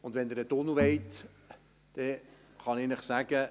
Und wenn Sie einen Tunnel wollen – das kann ich Ihnen sagen: